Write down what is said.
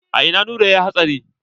A ina Nura yayi hatsari?